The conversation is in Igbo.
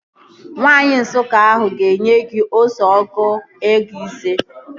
Nwaanyi Nsụka ahụ ga-enye gị ose ọgụ ego ise